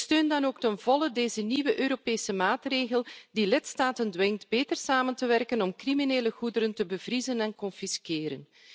Ik steun dan ook ten volle deze nieuwe Europese maatregel, die de lidstaten dwingt beter samen te werken om criminele goederen te bevriezen en te confisqueren.